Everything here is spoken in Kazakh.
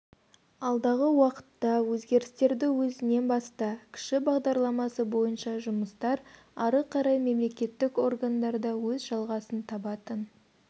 алдағы уақытта өзгерістерді өзіңнен баста кіші бағдарламасы бойынша жұмыстар ары қарай мемлекеттік органдарда өз жалғасын табатын